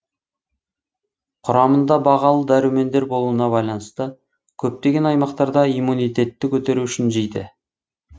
құрамында бағалы дәрумендер болуына байланысты көптеген аймақтарда иммунитетті көтеру үшін жейді